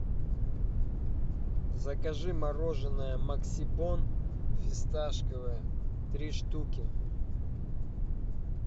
закажи мороженое максибон фисташковое три штуки